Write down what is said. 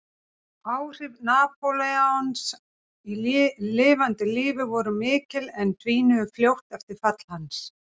Áhrif Napóleons í lifanda lífi voru mikil en dvínuðu fljótt eftir fall hans.